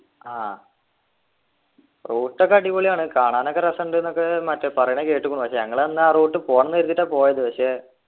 ആഹ് route ഒക്കെ അടിപൊളിയാണ് കാണാനൊക്കെ രസമുണ്ട്ന്നൊക്കെ മറ്റേ പറയണ കേട്ട്ക്കുണു പക്ഷെ ഞങ്ങളന്ന് ആ route പോണംന്നു കരുതീട്ടാ പോയത് പക്ഷെ